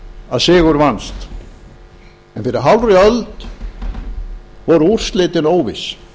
að sigur vannst en fyrir hálfri öld voru úrslitin óviss